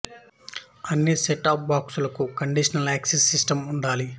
అన్ని set top బాక్సులకూ conditional access system ఉండాలి